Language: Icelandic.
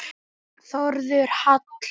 Þórður Hall.